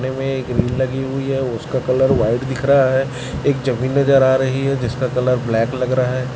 में एक ग्रिल लगी हुई है उसका कलर व्हाइट दिख रहा है एक जमीन नज़र आ रही है जिसका कलर ब्लैक लग रहा है।